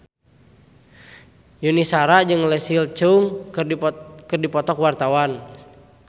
Yuni Shara jeung Leslie Cheung keur dipoto ku wartawan